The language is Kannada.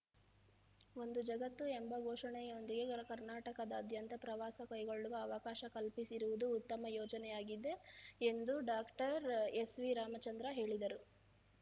ಒಂದು ಜಗತ್ತು ಎಂಬ ಘೋಷಣೆಯೊಂದಿಗೆ ಕರ್ನಾಟಕದಾದ್ಯಂತ ಪ್ರವಾಸ ಕೈಗೊಳ್ಳುವ ಅವಕಾಶ ಕಲ್ಪಿಸಿರುವುದು ಉತ್ತಮ ಯೋಜನೆಯಾಗಿದೆ ಎಂದು ಡಾಕ್ಟರ್ ಎಸ್‌ವಿರಾಮಚಂದ್ರ ಹೇಳಿದರು